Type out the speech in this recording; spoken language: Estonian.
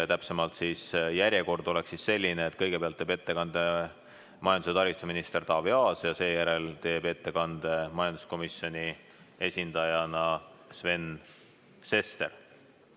Täpsemalt öeldes oleks järjekord selline, et kõigepealt teeb ettekande majandus- ja taristuminister Taavi Aas ja seejärel teeb ettekande majanduskomisjoni esindaja Sven Sester.